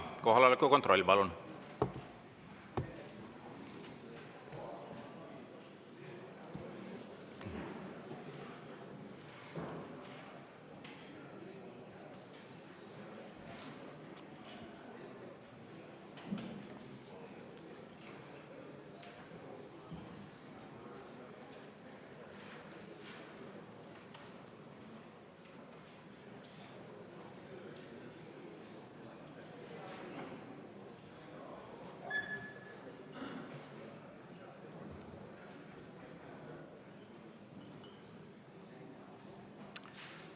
Kohaloleku kontroll, palun!